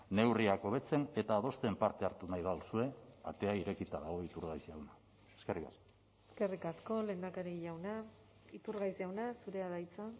neurriak hobetzen eta adosten parte hartu nahi baduzue atea irekita dago iturgaiz jauna eskerrik asko eskerrik asko lehendakari jauna iturgaiz jauna zurea da hitza